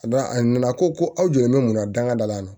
Ka d'a a nana ko aw jɔlen bɛ mun na dangada la